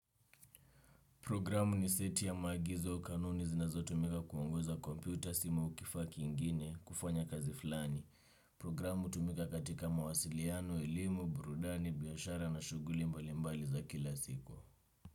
Programu ni seti ya maagizo kanuni zinazotumika kuongoza kompyuta simu au kifaa kingine kufanya kazi fulani. Programu hutumika katika mawasiliano, elimu, burudani, biashara na shughuli mbalimbali za kila siku.